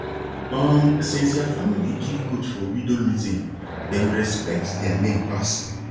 um since their family give goat for widow meeting dem respect their name pass